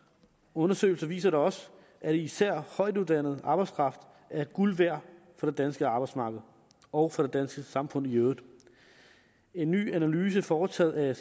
undersøgelser viser da også at især højtuddannet arbejdskraft er guld værd for det danske arbejdsmarked og for det danske samfund i øvrigt en ny analyse foretaget af